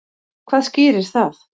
Hvað skýrir það?